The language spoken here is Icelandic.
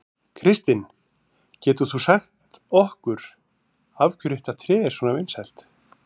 Kristinn, getur þú sagt okkur af hverju þetta tré er svona vinsælt?